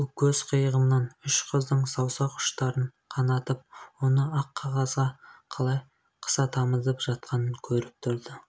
бұл көз қиығымн үш қыздың саусақ ұштарын қанатып оны ақ қағазға қалай қыса тамызып жатқанын көріп тұрды